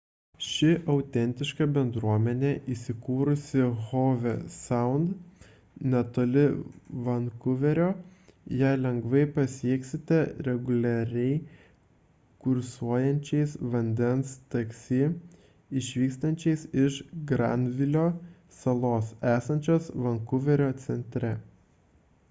ši autentiška bendruomenė įsikūrusi howe sound netoli vankuverio ją lengvai pasieksite reguliariai kursuojančiais vandens taksi išvykstančiais iš granvilio salos esančios vankuverio centre